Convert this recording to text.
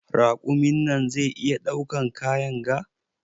Raƙumin nan zai iya ɗaukan kayan ga?